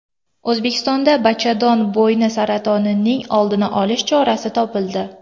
O‘zbekistonda bachadon bo‘yni saratonining oldini olish chorasi topildi.